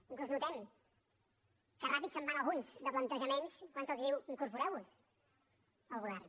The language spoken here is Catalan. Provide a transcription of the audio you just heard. inclús notem que ràpid se’n van alguns de plantejaments quan se’ls diu incorporeu vos al govern